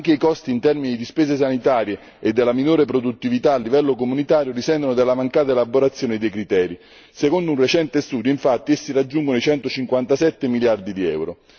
Anche i costi in termini di spese sanitarie e della minore produttività a livello comunitario risentono della mancata elaborazione dei criteri. Secondo un recente studio infatti essi raggiungono i centocinquantasette miliardi di euro.